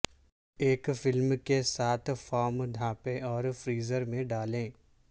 ایک فلم کے ساتھ فارم ڈھانپیں اور فریزر میں ڈالیں